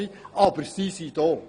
Sie sind aber nun einmal da.